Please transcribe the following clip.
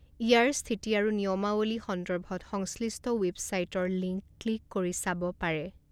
ইয়াৰ স্থিতি আৰু নিয়মাৱলী সন্দৰ্ভত সংশ্লিষ্ট বেৱছাইটৰ লিংক ক্লিক কৰি চাব পাৰে।